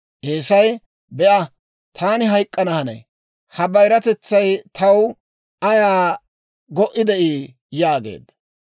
Eesay, «Be'a! Taani hayk'k'ana hanay; ha bayiratetsay taw ayaa go"i de'ii?» yaageedda.